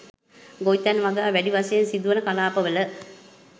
ගොවිතැන් වගා වැඩි වශයෙන් සිදුවන කලාප වල